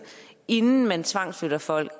inden man tvangsflytter folk